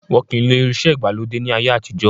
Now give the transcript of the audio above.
Wọn kì í lo irinsẹ́ ìgbàlódé ni ayé àtijọ́.